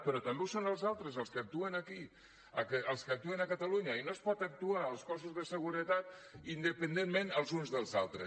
però també ho són els altres els que actuen aquí els que actuen a catalunya i no es pot actuar els cossos de seguretat independentment els uns dels altres